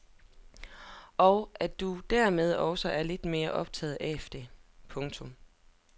Og at du dermed også er lidt mere optaget af det. punktum